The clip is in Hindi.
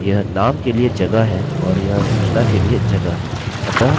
यह नाम के लिए जगह है और यह सूचना के लिए जगह है